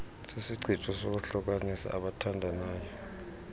sisichitho sokuhlukanisa abathandayo